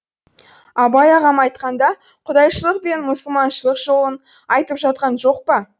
абай ағам айтқанда құдайшылық пен мұсылманшылық жолын айтып жатқан жоқ па